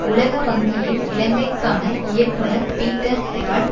உலக வங்கியின் இலங்கைக்கான இயக்குனர் பீட்டர் ஹெரால்ட்